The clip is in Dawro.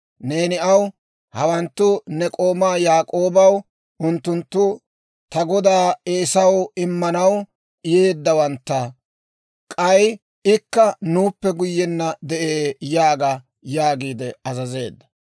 neeni aw, ‹Hawanttu ne k'oomaa Yaak'oobawaa; unttunttu ta godaa Eesaw immanaw yeddeeddawantta; k'ay ikka nuuppe guyyenna yide'ee› yaaga» yaagiide azazeedda.